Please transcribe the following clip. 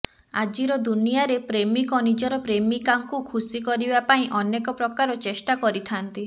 ଆଜିର ଦୁନିଆରେ ପ୍ରେମୀକ ନିଜର ପ୍ରେମିକାଙ୍କୁ ଖୁସି କରିବା ପାଇଁ ଅନେକ ପ୍ରକାର ଚେଷ୍ଟା କରିଥାନ୍ତି